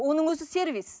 оның өзі сервис